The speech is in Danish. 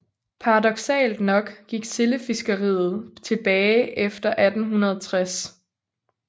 Paradoksalt nok gik sildefiskeriet tilbage efter 1860